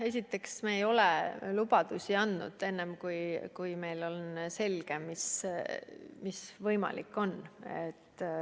Esiteks, me ei ole lubadusi andnud, enne kui meil on selge, mis võimalik on.